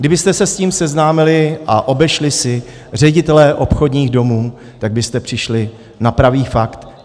Kdybyste se s tím seznámili a obešli si ředitele obchodních domů, tak byste přišli na pravý fakt.